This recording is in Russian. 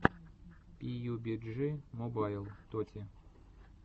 пиюбиджи мобайл тоти